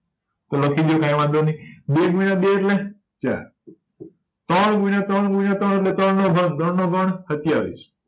તો લખી દયો કાય વાંધો નય બે ગુણ્યા બે એટલે ચાર ત્રણ ગુણ્યા ત્રણ ગુણ્યા ત્રણ એટલે ત્રણનો ઘન ત્રણનો ઘન સત્યાવીશ